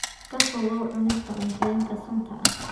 Ka fogow cunista cuntooyinka sunta ah.